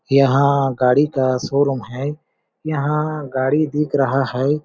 यहाँ गाड़ी का शोरूम है। यहाँ गाड़ी दिख रहा है।